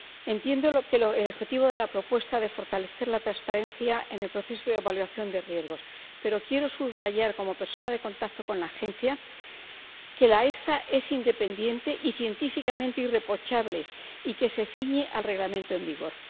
Entiendo el objetivo de la propuesta de fortalecer la transparencia en el proceso de evaluación de riesgos, pero quiero subrayar como persona de contacto con la Agencia, que la EFSA es independiente y científicamente irreprochable y que se ciñe al Reglamento en vigor.